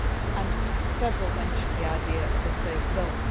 and several speakers mentioned the idea of a safe zone.